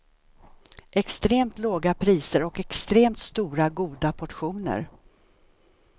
Extremt låga priser och extremt stora, goda portioner.